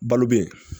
Balo bɛ yen